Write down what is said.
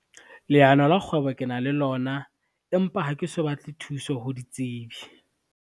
Leano la kgwebo ke na le lona, empa ha ke so batle thuso ho ditsebi.